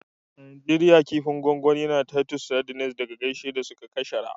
A Najeriya, kifin gwangwani na titus sardines da geisha su suka shahara.